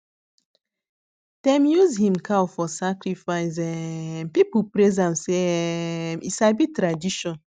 dem use him cow for sacrifice um people praise am say um e sabi tradition